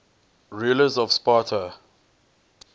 rulers of sparta